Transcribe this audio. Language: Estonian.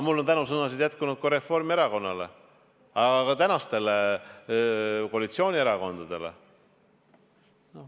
Mul on tänusõnu jätkunud ka Reformierakonnale, ka tänastele koalitsioonierakondadele.